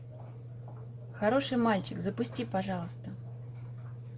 хороший мальчик запусти пожалуйста